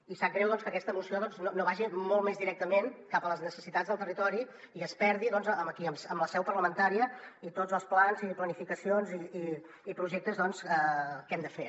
i sap greu doncs que aquesta moció no vagi molt més directament cap a les necessitats del territori i es perdi aquí en la seu parlamentària i tots els plans i planificacions i projectes que hem de fer